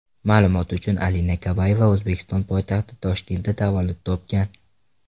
Ma’lumot uchun Alina Kabayeva O‘zbekiston poytaxti Toshkentda tavallud topgan.